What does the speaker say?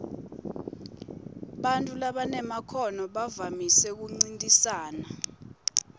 bantfu labanemakhono bavamise kuncintisana